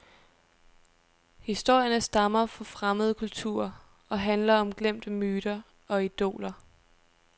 Historierne stammer fra fremmede kulturer og handler om glemte myter og idoler.